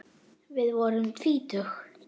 Við vorum tvítug.